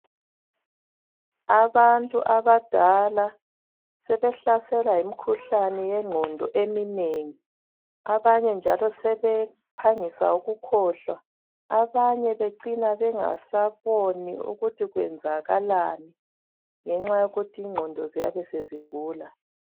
Abantu abadala sebehlaselwa yimikhuhlane yengqondo eminengi. Abanye njalo sebephangisa ukukhohlwa, abanye becina bengasaboni ukuthi kwenzakalani ngenxa yokuthi ingqondo ziyabe sezigula.